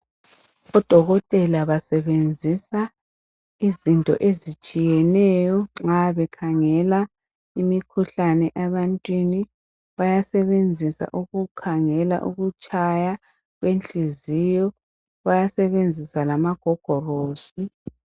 Odokotela basebenzisa izinto ezitshiyeneyo nxa bekhangela imikhuhlane ebantwini. Bayasebenzisa ukukhangela ukutshaya kwenhliziyo, bayasebenzisa lamagogorosi.